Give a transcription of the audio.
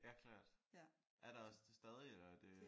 Ja klart. Er der også det stadig eller er det?